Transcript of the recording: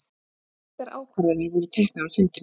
Engar ákvarðanir voru teknar á fundinum